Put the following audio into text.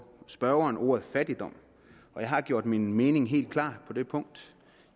spørgeren ordet fattigdom og jeg har gjort min mening helt klar på det punkt